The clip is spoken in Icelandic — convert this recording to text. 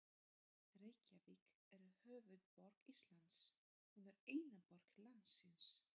Reykjavík er höfuðborg Íslands. Hún er eina borg landsins.